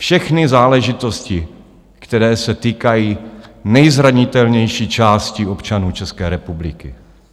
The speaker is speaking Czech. Všechny záležitosti, které se týkají nejzranitelnější části občanů České republiky.